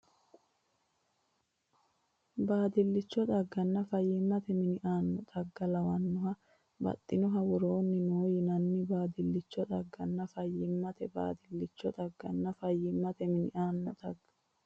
Baadillicho xagganna fayyimmate mini aanno xagga Lawannoha Baxxannoha Woroonni noo yinanni Baadillicho xagganna fayyimmate Baadillicho xagganna fayyimmate mini aanno xagga.